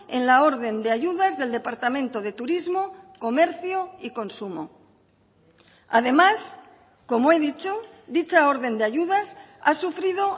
en la orden de ayudas del departamento de turismo comercio y consumo además como he dicho dicha orden de ayudas ha sufrido